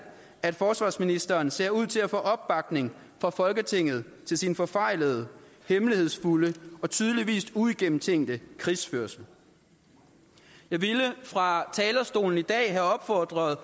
at forsvarsministeren ser ud til at få opbakning fra folketinget til sin forfejlede hemmelighedsfulde og tydeligvis uigennemtænkte krigsførelse jeg ville fra talerstolen i dag have opfordret